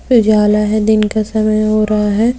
उजाला है दिन का समय हो रहा है।